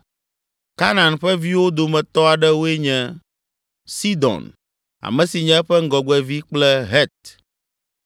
Kanaan ƒe viwo dometɔ aɖewoe nye: Sidon, ame si nye eƒe ŋgɔgbevi kple Het.